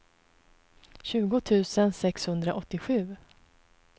tjugo tusen sexhundraåttiosju